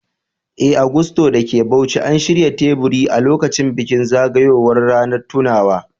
Eh, a Gusto da ke Bauchi, an shirya teburi a lokacin bikin zagayowar ranar tunawa.